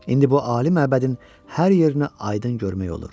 İndi bu ali məbədin hər yerinə aydın görmək olur.